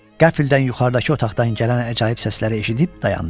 Qəfildən yuxarıdakı otaqdan gələn əcaib səsləri eşidib dayandı.